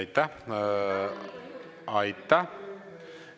Aitäh!